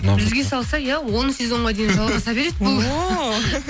бізге салса иә он сезонға дейін жалғаса береді бұл ооо